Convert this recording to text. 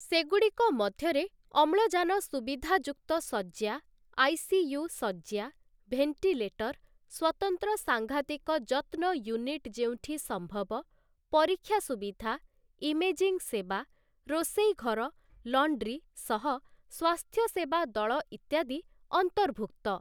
ସେଗୁଡ଼ିକ ମଧ୍ୟରେ ଅମ୍ଳଜାନ ସୁବିଧାଯୁକ୍ତ ଶଯ୍ୟା, ଆଇସିୟୁ ଶଯ୍ୟା, ଭେଣ୍ଟିଲେଟର, ସ୍ୱତନ୍ତ୍ର ସାଂଘାତିକ ଯତ୍ନ ୟୁନିଟ୍ ଯେଉଁଠି ସମ୍ଭବ, ପରୀକ୍ଷା ସୁବିଧା, ଇମେଜିଂ ସେବା, ରୋଷେଇ ଘର, ଲଣ୍ଡ୍ରୀ ସହ ସ୍ୱାସ୍ଥ୍ୟସେବା ଦଳ ଇତ୍ୟାଦି ଅନ୍ତର୍ଭୁକ୍ତ ।